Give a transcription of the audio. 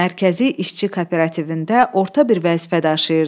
Mərkəzi İşçi Kooperativində orta bir vəzifə daşıyırdı.